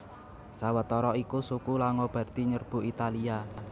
Sawetara iku suku Langobardi nyerbu Italia